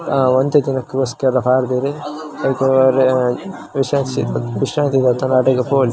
ಅ ಒಂತೆ ದಿನಕ್ಕೋಸ್ಕರ ಪಾಡ್ ದೆರ್ ಐತ ವಿಶ ವಿಶ್ರಾಂತಿ ದೆತ್ತೊಂಡ್ರೆ ಅಡೆಗ್ ಪೋಲಿ --